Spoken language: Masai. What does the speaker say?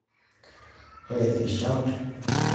Ore erishat oosiruai naa keisherekeae